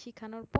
শিখানোর পর